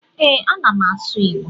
E, ana m asụ Igbo